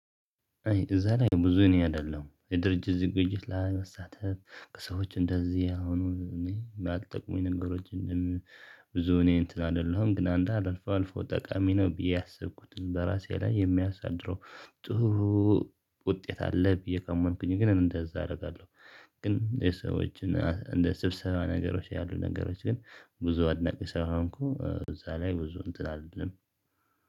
አይ እዛ ላይ ብዙ እኔ አይደለሁም የድርጅት ዝግጅት ላይ መሳተፍ ከሰዎች እንደዚህ አሁኑ እኔ የማልጠቅሙኝ ነገሮችን ብዙ እኔ እንትን አይደለሁም። ግን አንዳንድ አልፎ አልፎ ጠቃሚ ነው ብዬ ያሰብኩትን በራሴ ላይ የሚያሳድረው ጥሩ ውጤት አለ ብዬ ካመንኩኩኝ ግን እንደዛ አረጋለሁ ግን የሰዎችን እንደ ስብሰባ ነገሮች ያሉ ነገሮች ግን ብዙ አድናቂ ስላልሆንኩ እዛ ላይ ብዙ እንትን አልልም።